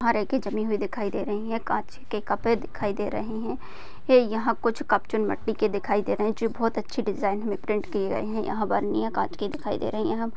जमी हुई दिखाई दे रही है काँच के कपे दिखाई दे रहे है ये यहा कुछ के दिखाई दे रहे है जो बहुत अच्छी डिज़ाइन में प्रिंट किये गये है। यहा बरणीया काँच की दिखाई दे रही है यहा --